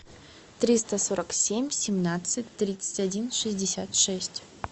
триста сорок семь семнадцать тридцать один шестьдесят шесть